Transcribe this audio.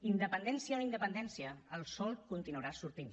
independència o no independència el sol continuarà sortint